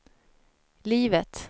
livet